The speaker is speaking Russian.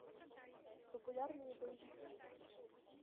популярные боевики